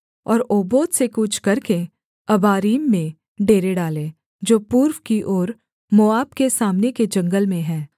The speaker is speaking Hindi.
और ओबोत से कूच करके अबारीम में डेरे डालें जो पूर्व की ओर मोआब के सामने के जंगल में है